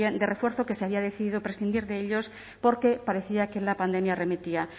de refuerzo que se había decidido prescindir de ellos porque parecía que la pandemia remitía